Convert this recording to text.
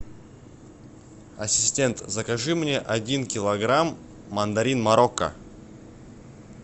ассистент закажи мне один килограмм мандарин марокко